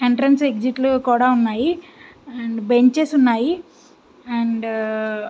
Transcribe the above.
Entrance exit లు కూడా ఉన్నాయి. అండ్ బెంచెస్ ఉన్నాయి. అండ్ --